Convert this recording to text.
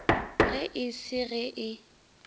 ge e se ge e